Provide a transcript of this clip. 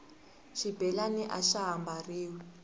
xibelani axa ha mbariwi